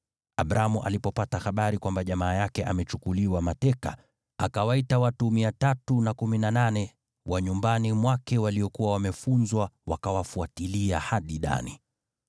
Abramu alipopata habari kwamba jamaa yake amechukuliwa mateka, akawaita watu 318 wa nyumbani mwake waliokuwa wamefunzwa kupigana vita, wakawafuatilia hadi Dani.